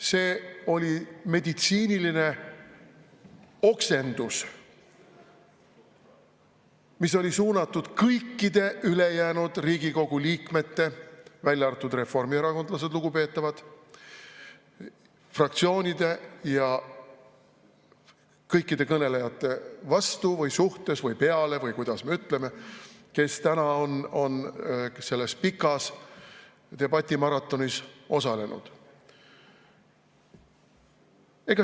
See oli meditsiiniline oksendus, mis oli suunatud kõikide ülejäänud Riigikogu liikmete – välja arvatud reformierakondlased, lugupeetavad –, fraktsioonide ja kõikide kõnelejate vastu või suhtes või peale või kuidas me ütleme, kes täna on selles pikas debatimaratonis osalenud.